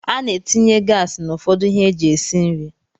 Ana etinye gas na ụfọdụ ihe eji esi nri.